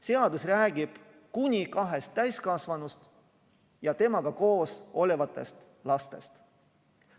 Seadus räägib kuni kahest täiskasvanust ja temaga koos olevatest lastest.